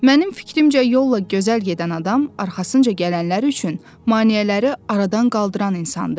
Mənim fikrimcə yolla gözəl gedən adam arxasınca gələnlər üçün maneələri aradan qaldıran insandır.